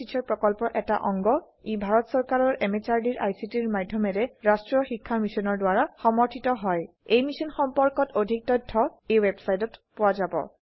ই ভাৰত চৰকাৰৰ MHRDৰ ICTৰ মাধয়মেৰে ৰাস্ত্ৰীয় শিক্ষা মিছনৰ দ্ৱাৰা সমৰ্থিত হয় এই মিশ্যন সম্পৰ্কত অধিক তথ্য spoken hyphen tutorial dot org slash এনএমইআইচিত হাইফেন ইন্ট্ৰ ৱেবচাইটত পোৱা যাব